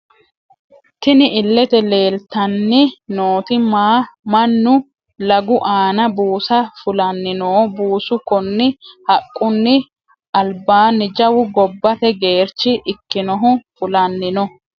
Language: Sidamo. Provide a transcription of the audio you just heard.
Tinni illete leelitanni nooti Manu laggu aana buusa fulanni no buusu kunni haqquniho alibaani jawu gobbate geericho ikkinohu Fulani no.